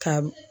Ka